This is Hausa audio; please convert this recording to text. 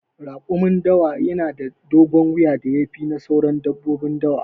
Raƙumin dawa na da dogon wuya da ya fi na sauran dabbobin dawa.